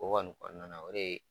O kɔni nana o de ye